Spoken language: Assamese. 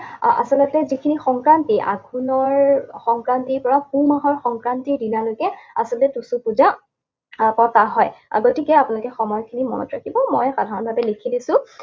আচলতে যিখিনি সংক্ৰান্তি, আঘোণৰ সংক্ৰান্তিৰ পৰা পুহ মাহৰ সংক্ৰান্তিৰ দিনালৈকে আচলতে টুচু পূজা আহ পতা হয়। গতিকে আপোনালোকে সময়খিনি মনত ৰাখিব। মই সাধাৰণভাৱে লিখি দিছোঁ।